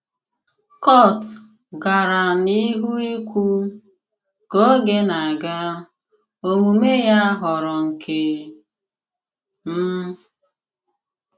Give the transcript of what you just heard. Kùrt gara n'ihu ìkwù: “Kà ògè na-aga, òmume ya ghòrọ nke m.”